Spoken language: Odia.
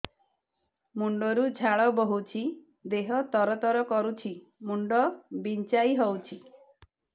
ମୁଣ୍ଡ ରୁ ଝାଳ ବହୁଛି ଦେହ ତର ତର କରୁଛି ମୁଣ୍ଡ ବିଞ୍ଛାଇ ହଉଛି